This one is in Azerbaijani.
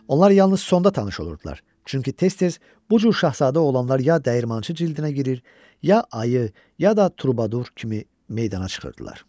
Onlar yalnız sonda tanış olurdular, çünki tez-tez bu cür şahzadə oğlanlar ya dəyirmançı cildinə girir, ya ayı, ya da turbadur kimi meydana çıxırdılar.